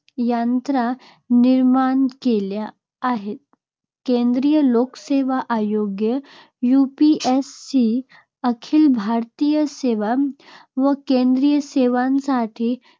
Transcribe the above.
यंत्रणा निर्माण केल्या आहेत. केंद्रीय लोकसेवा आयोग UPSE अखिल भारतीय सेवा व केंद्रीय सेवांसाठी